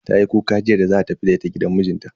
Tayi kuka jiya da za a tafi da ita gidan mijinta.